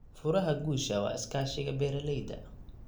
Furaha guusha waa iskaashiga beeralayda.